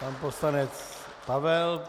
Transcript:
Pan poslanec Pavel .